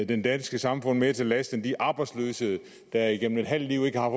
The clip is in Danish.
det danske samfund mere til last end de arbejdsløse der igennem et halvt liv ikke har